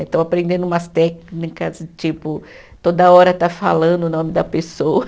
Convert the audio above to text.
Eh estou aprendendo umas técnicas, tipo, toda hora estar falando o nome da pessoa.